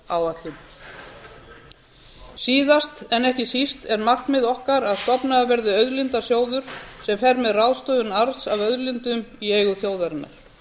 náttúruverndaráætlun síðast en ekki síst er markmið okkar að stofnaður verði auðlindasjóður sem fer með ráðstöfun arðs af auðlindum í eigum þjóðarinnar